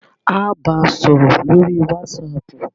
Á á ba sọ̀rọ̀ lórí wàsáàpù.